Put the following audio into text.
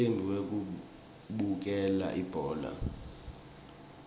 umcimbi wekubukela ibhola